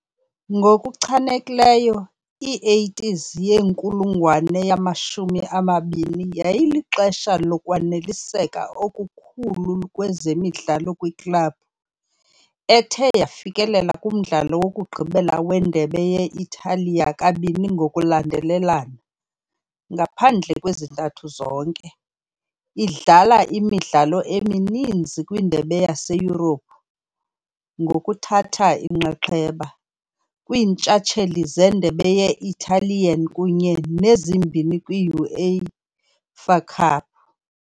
Ngokuchanekileyo i-80s yenkulungwane yamashumi amabini yayilixesha lokwaneliseka okukhulu kwezemidlalo kwiklabhu, ethe yafikelela kumdlalo wokugqibela weNdebe ye -Italiya kabini ngokulandelelana, ngaphandle kwezintathu zizonke, idlala imidlalo emininzi kwiindebe zaseYurophu, ngokuthatha inxaxheba. kwiiNtshatsheli zeNdebe ye-Italian kunye nezimbini kwi- UEFA Cup.